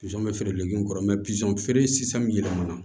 Pizɔn bɛ feere lege kɔrɔ feere sisan min yɛlɛmana